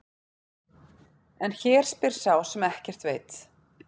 En hér spyr sá sem ekki veit.